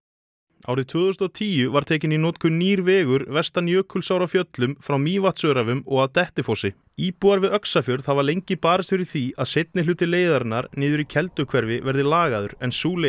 árið tvö þúsund og tíu var tekinn í notkun nýr vegur vestan Jökulsár á Fjöllum frá Mývatnsöræfum og að Dettifossi íbúar við Öxarfjörð hafa lengi barist fyrir því að seinni hluti leiðarinnar niður í Kelduhverfi verði lagaður en sú leið